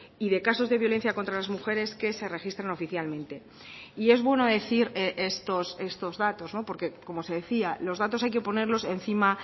y de casos de violencia contra las mujeres que se registran oficialmente y es bueno decir estos datos porque como se decía los datos hay que ponerlos encima